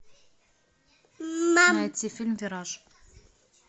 найти фильм вираж